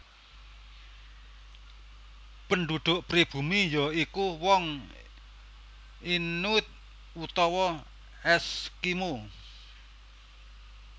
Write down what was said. Penduduk pribumi ya iku wong Inuit utawa Eskimo